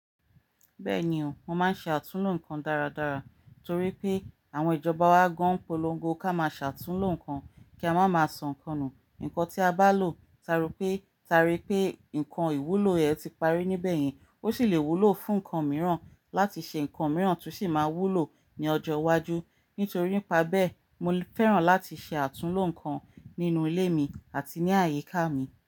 Bẹ́ẹ̀ni o, mo máa ń ṣe àtúnlo nǹkan dáradára torí pé àwọn ìjọba wa gán polongo ká máa ṣe àtúnlo nǹkan kí a má máa sọ nǹkan nù. Ǹkan tí a bá lò, ta rò pé, ta rí pé nǹkan ìwúlò rẹ̀ ti parí níbẹ̀ yín, ó sì le wúlò fún nǹkan mìíràn láti ṣe nǹkan mìíràn tó sì máa wúlò ní ọjọ́ iwájú. Nítorí ìpá bẹ́ẹ̀, mo fẹ́ràn láti ṣe àtúnlo nǹkan nínú ilé mi àti ní àyíká mi.